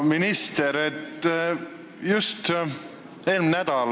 Aitäh, esimees!